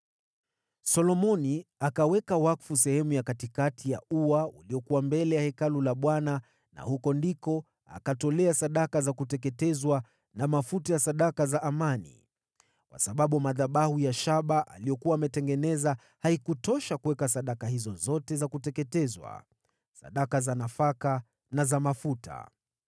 Solomoni akaweka wakfu sehemu ya katikati ya ua uliokuwa mbele ya Hekalu la Bwana na hapo akatoa sadaka za kuteketezwa na mafuta ya sadaka za amani, kwa sababu madhabahu ya shaba aliyokuwa ametengeneza haikutosha kuweka sadaka hizo zote za kuteketezwa, sadaka za nafaka na za mafuta.